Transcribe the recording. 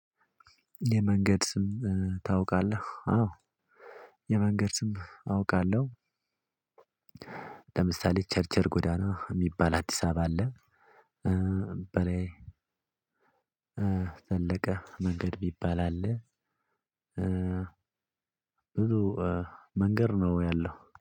የመንገድ ስም ታውቃለህ? አዎ። የመንገድ ስም አውቃለሁ። ለምሳሌ ቸርቸር ጎዳና የሚባል አዲስ አበባ አለ። በላይ ዘለቀ መንገድ የሚባል አለ። ብዙ መንገድ ነው ያለው